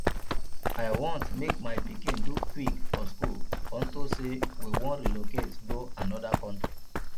i wan make my pikin do quick for school unto say we wan relocate go another country